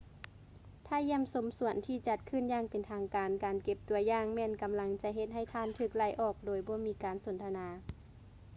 ຖ້າຢ້ຽມຊົມສວນທີ່ຈັດຂຶ້ນຢ່າງເປັນທາງການ ການເກັບ ຕົວຢ່າງ ແມ່ນກຳລັງຈະເຮັດໃຫ້ທ່ານຖືກໄລ່ອອກໂດຍບໍ່ມີການສົນທະນາ